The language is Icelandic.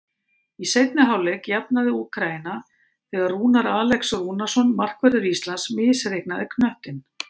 Í seinni hálfleik jafnaði Úkraína þegar Rúnar Alex Rúnarsson, markvörður Íslands, misreiknaði knöttinn.